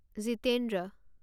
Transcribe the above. Jitendra